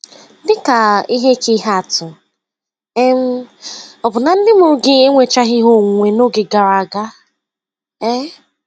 Dị ka ihe ka ihe atụ, um ọ̀ bụ na ndị mụrụ gị enwechaghị ihe onwunwe n'oge gara aga? um